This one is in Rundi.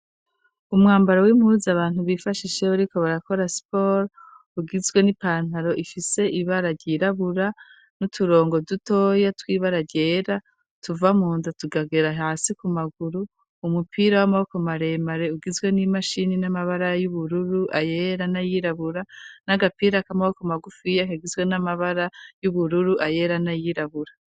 Umwambaro w'impuzu abantu bifashisha iyo bariko barakora siporo, ugizwe n'ipantaro ifise ibara ryirabura, n'uturongo dutoya tw'ibara ryera, tuva munda tukagera hasi ku maguru, umupira w'amaboko maremare ugizwe n'imashini n'amabara y'ubururu, ayera n'ayirabura, n'agapira k'amaboko magufiya kagizwe n'amabara y'ubururu, ayera n'ayirabura.